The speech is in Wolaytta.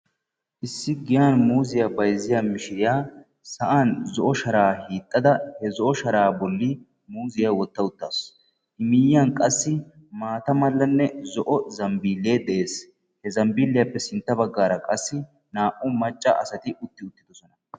Issi giyan muuziya bayzziya mishiriya sa'an zo'o shara hiixada he zo'o shara bolli muuziya wotta uttaasu miyiyyan qassi maata mala zambbile de'ees he zambbiliyappe sintta baggara qassi naa"u macca asati utti uttidosona.